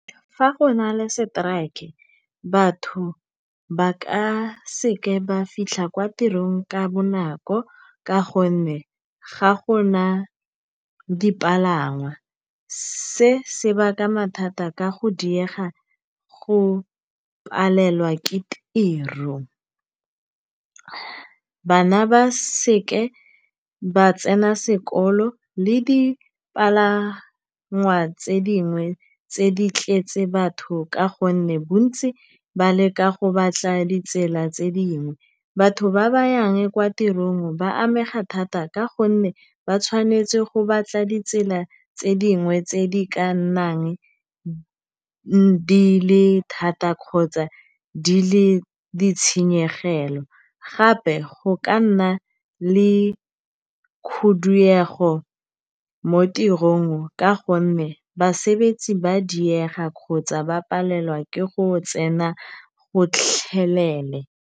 Fa go na le strike-e, batho ba ka seke ba fitlha kwa tirong ka bonako ka gonne ga go na dipalangwa, se se baka mathata ka go diega go palelwa ke tiro. Bana ba seke ba tsena sekolo le dipalangwa tse dingwe tse di tletse batho ka gonne bontsi ba leka go batla ditsela tse dingwe. Batho ba ba yang kwa tirong ba amega thata ka gonne ba tshwanetse go batla ditsela tse dingwe tse di ka nnang di le thata kgotsa di le ditshenyegelo. Gape go ka nna le khuduego mo tirong ka gonne basebetsi ba diega kgotsa ba palelwa ke go tsena gotlhelele.